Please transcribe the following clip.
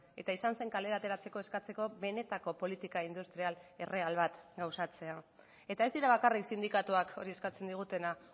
eta izan zen kalera ateratzeko eskatzeko benetako politika industrial erreal bat gauzatzea eta ez dira bakarrik sindikatuak hori eskatzen digutena